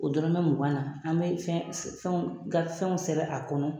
O dɔrɔmɛ mugan na an bɛ fɛnw sɛbɛn a kɔnɔ